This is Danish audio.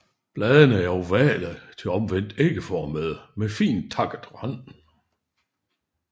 Bladene er ovale til omvendt ægformede med fint takket rand